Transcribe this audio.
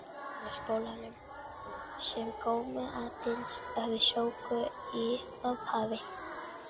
Vinnuskólanum, sem komu aðeins við sögu í upphafi.